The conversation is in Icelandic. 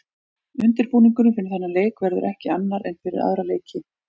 Undirbúningurinn fyrir þennan leik verður ekki annar en fyrir aðra leiki.